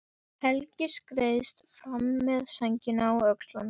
Helgi skreiðist fram með sængina á öxlunum.